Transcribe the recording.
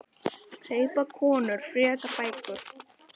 Kaupa konur frekar bækur?